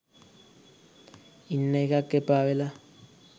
ඉන්න එකත් එපාවෙලා